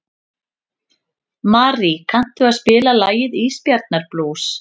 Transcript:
Marí, kanntu að spila lagið „Ísbjarnarblús“?